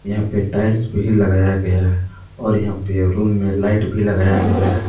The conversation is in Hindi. यहां पे टाइल्स भी लगाया गया है और यहां पे रूम में लाइट भी लगाया गया है।